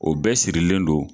O bɛɛ sirilen don